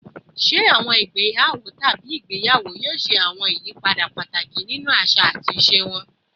Ṣe awọn igbeyawo tabi igbeyawo yoo ṣe awọn ayipada pataki ninu aṣa ati aṣa wọn?